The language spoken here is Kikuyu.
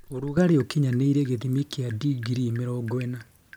Ũrugarĩ wa ũkinyanĩirie gĩthimi kĩa digrii mĩrongo ĩna